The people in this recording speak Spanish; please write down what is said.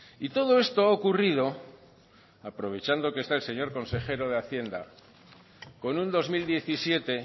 y todo esto ha ocurrido aprovechando que esta el señor consejero de hacienda con un dos mil diecisiete